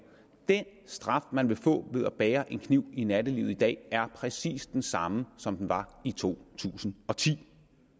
den straf man vil få ved at bære en kniv i nattelivet i dag er præcis den samme som den var i to tusind og ti